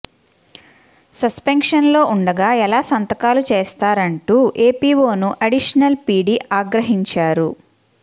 సస్పెన్షన్లో ఉండగా ఎలా సంతకాలు చేస్తారంటూ ఏపీఓను అడిషనల్ పీడీ ఆగ్రహించారు